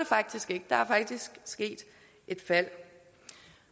faktisk ikke der er faktisk sket et fald